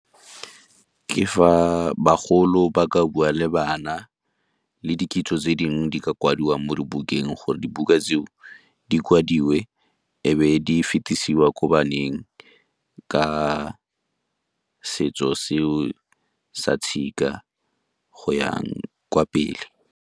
Ke fa bagolo ba ka bua le bana le di kitso tse dingwe di ka kwadiwa mo dibukeng gore dibuka tseo di kwadiwe e be di fetisiwa ko baneng, ka setso seo sa tshika go ya kwa pele.